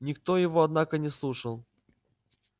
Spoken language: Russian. никто его однако не слушал